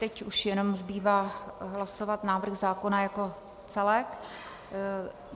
Teď už jenom zbývá hlasovat návrh zákona jako celek.